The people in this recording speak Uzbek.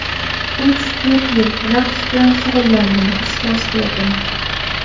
Uch-to‘rt yil raqs bilan shug‘ullandim, ustoz ko‘rdim.